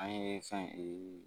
An ye fɛn